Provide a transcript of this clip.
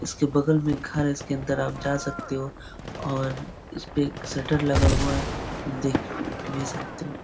इसके बगल में एक घर है। इसके अन्दर आप जा सकते हो। और उसपे सटर लगा हुआ है। देख भी सकते हो।